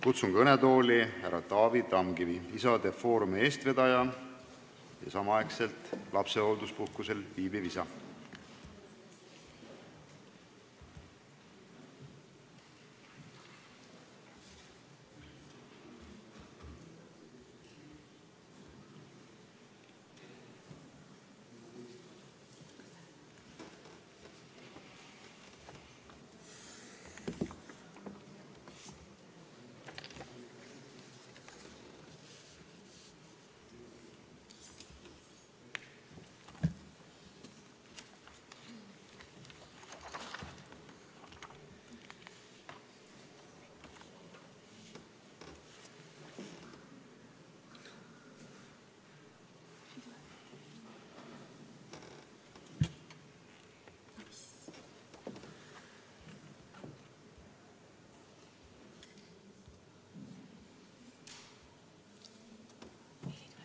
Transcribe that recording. Kutsun kõnetooli härra Taavi Tamkivi, Isade Foorumi eestvedaja ja samal ajal lapsehoolduspuhkusel viibiva isa.